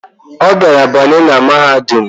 Obiara banye na mahadum